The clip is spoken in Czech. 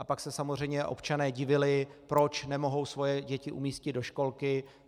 A pak se samozřejmě občané divili, proč nemohou svoje děti umístit do školky.